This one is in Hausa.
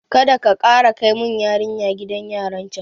Kadaka kara kai mun yarinya gidan yaran can